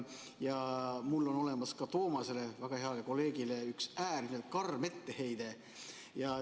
Mul on olemas ka Toomasele, väga heale kolleegile, üks äärmiselt karm etteheide.